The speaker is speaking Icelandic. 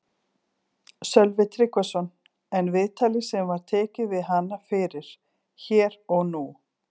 Sölvi Tryggvason: En viðtalið sem var tekið við hana fyrir Hér og nú?